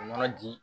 O yɔrɔ di